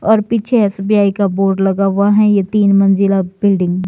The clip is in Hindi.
और पीछे एस_बी_आई का बोर्ड लगा हुआ है ये तीन मंजिला बिल्डिंग --